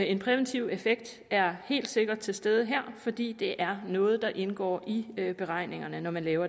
en præventiv effekt er helt sikkert til stede her fordi det er noget der indgår i beregningerne når man laver